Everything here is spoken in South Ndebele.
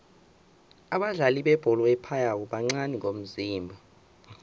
abadlali bebholo ephaywako bancani ngomzimba